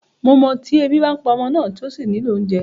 Màá mọ̀ tí ẹbí bá ń pa ọmọ náà, tí ó sì nílò oúnjẹ.